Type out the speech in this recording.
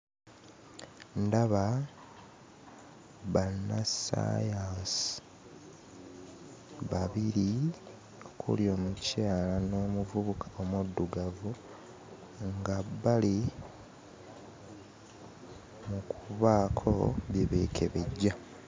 Ndaba bannassaayansi babiri okuli omukyala n'omuvubuka omuddugavu nga bali mu kubaako bye beekebejja.